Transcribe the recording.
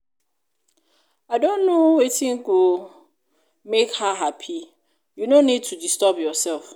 i don know wetin go make her happy. you no need to disturb yourself